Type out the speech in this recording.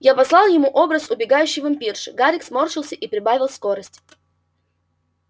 я послал ему образ убегающей вампирши гарик сморщился и прибавил скорость